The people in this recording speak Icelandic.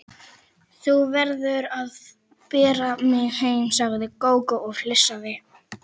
Þú verður að bera mig heim, sagði Gógó og flissaði.